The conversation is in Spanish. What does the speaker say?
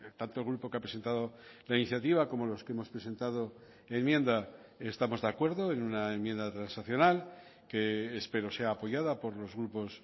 tanto el grupo que ha presentado la iniciativa como los que hemos presentado enmienda estamos de acuerdo en una enmienda transaccional que espero sea apoyada por los grupos